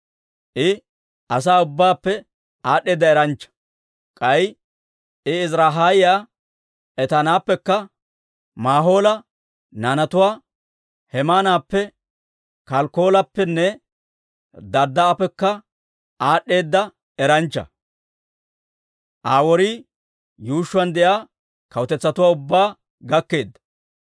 I asaa ubbaappe aad'd'eeda eranchcha; k'ay I Ezirahiyaa Etaanappekka, Maahola naanatuwaa Hemaanappe, Kalkkoolappenne Darddaa'appekka aad'd'eeda eranchchaa. Aa worii yuushshuwaan de'iyaa kawutetsatuwaa ubbaa gakkeedda.